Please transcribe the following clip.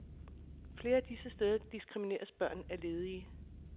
Flere af disse steder diskrimineres børn af ledige.